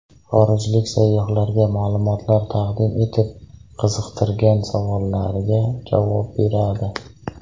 Xorijlik sayyohlarga ma’lumotlar taqdim etib, qiziqtirgan savollariga javob beradi.